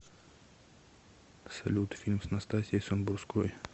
салют фильм с настасьей самбурской